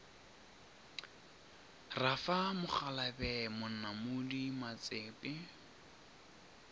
ra fa mokgalabje monamodi matsepe